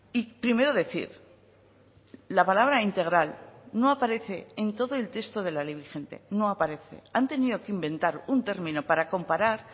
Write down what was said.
y primero decir la palabra integral no aparece en todo el texto de la ley vigente no aparece han tenido que inventar un término para comparar